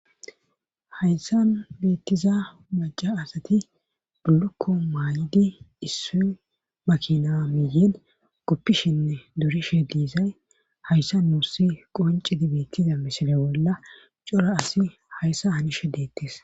hayssan beettiza maca asati bulukko maay7idi issu makina miyen goppishinne dorishe diizay hayssa nuussi qoncidi beettiza misile bolla cora asi hayssa hani she deettes